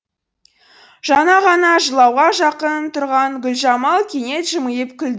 жаңа ғана жылауға жақын тұрған гүлжамал кенет жымиып күлді